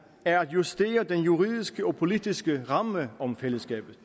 er at justere den juridiske og politiske ramme om fællesskabet